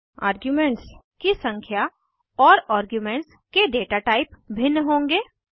arguments की संख्या और आर्ग्युमेंट्स के डेटा टाइप भिन्न होंगे